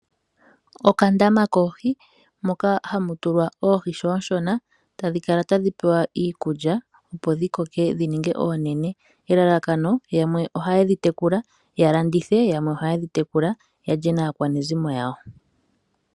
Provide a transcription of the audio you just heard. Okandama koohi moka hamu tulwa oohi ngele oonshona, tadhi kala tadhi pewa iikulya opo dhi koke dhi ninge oonene. Elalakano yamwe ohaye dhi tekula ya landithe, yamwe ohaye dhi tekula yalye naakwanezimo lyawo.